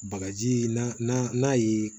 Bagaji n'a ye